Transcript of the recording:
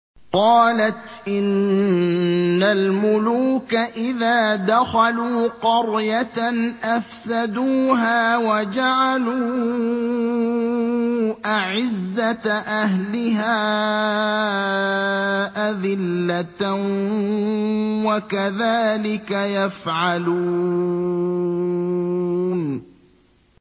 قَالَتْ إِنَّ الْمُلُوكَ إِذَا دَخَلُوا قَرْيَةً أَفْسَدُوهَا وَجَعَلُوا أَعِزَّةَ أَهْلِهَا أَذِلَّةً ۖ وَكَذَٰلِكَ يَفْعَلُونَ